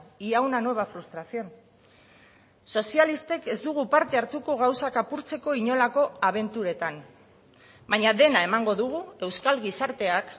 y a una nueva frustración sozialistek ez dugu parte hartuko gauzak apurtzeko inolako abenturetan baina dena emango dugu euskal gizarteak